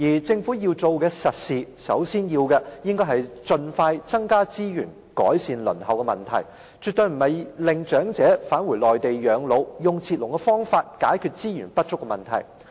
政府要做的實事，首先就是盡快增加資源改善輪候問題，而絕非要長者返回內地養老，以截龍方式解決資源不足的問題。